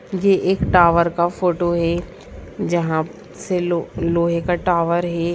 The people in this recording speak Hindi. ये एक टावर का फोटो है जहां से लो लोहे का टावर है।